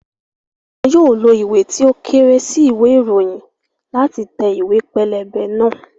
Wọn yóò lo ìwé tí ó kéré sí ìwé ìròyìn láti tẹ ìwé pélébé náà